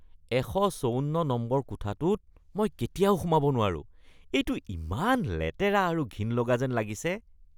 ১৫৪ নম্বৰৰ কোঠাটোত মই কেতিয়াও সোমাব নোৱাৰোঁ, এইটো ইমান লেতেৰা আৰু ঘিণ লগা যেন লাগিছে।